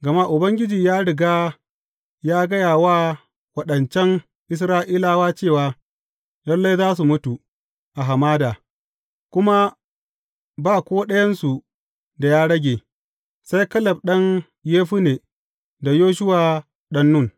Gama Ubangiji ya riga ya gaya wa waɗancan Isra’ilawa cewa lalle za su mutu a hamada, kuma ba ko ɗayansu da ya rage, sai Kaleb ɗan Yefunne da Yoshuwa ɗan Nun.